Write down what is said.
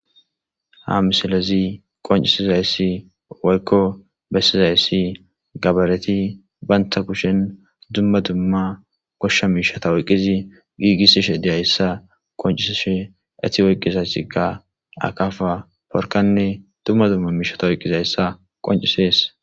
Ha misilezi qoncisizayssi waykko bessizayssi gabareti baynta kushen dumma dumma goshsha miishata oyqqizi giigis ishe deyayssa qonciseshe eti oyqqiza sika akafa porkanne dumma dumma miishata oyqqizayssa qoncisees.